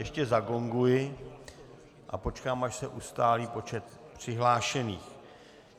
Ještě zagonguji a počkám, až se ustálí počet přihlášených.